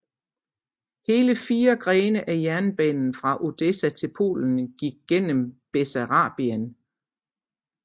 Hele 4 grene af jernbanen fra Odessa til Polen gik gennem Bessarabien